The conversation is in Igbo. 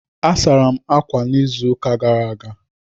A sara m ákwà n'izuụka gara aga.